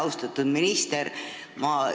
Austatud minister!